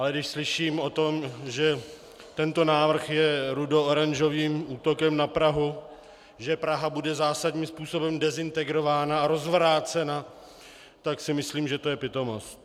Ale když slyším o tom, že tento návrh je rudooranžovým útokem na Prahu, že Praha bude zásadním způsobem dezintegrována a rozvrácena, tak si myslím, že to je pitomost.